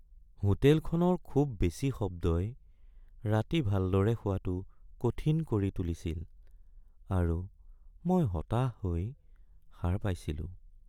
হোটেলখনৰ খুব বেছি শব্দই ৰাতি ভালদৰে শুৱাটো কঠিন কৰি তুলিছিল আৰু মই হতাশ হৈ সাৰ পাইছিলো।